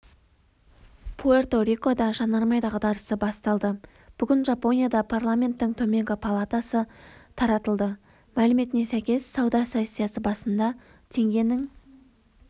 пуэрто-рикода жанармай дағдарысы басталды бүгін жапонияда парламенттің төменгі палатасы таратылды мәліметіне сәйкес сауда сессиясы барысында теңгенің